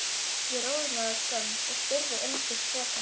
Ég roðnaði af skömm og spurði einskis frekar.